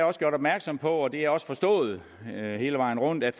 også gjort opmærksom på og det er også forstået hele vejen rundt at